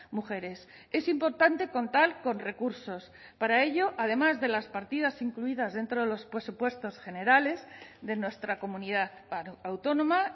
mujeres es importante contar con recursos para ello además de las partidas incluidas dentro de los presupuestos generales de nuestra comunidad autónoma